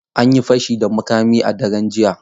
An yi fashi da makami a daren jiya.